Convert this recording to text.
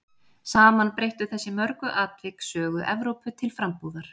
Saman breyttu þessi mörgu atvik sögu Evrópu til frambúðar.